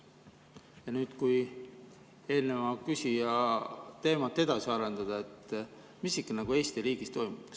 Kui nüüd eelmise küsija teemat edasi arendada, siis mis Eesti riigis toimub?